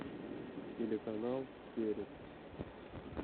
телеканал перец